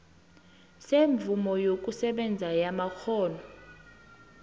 semvumo yokusebenza yamakghono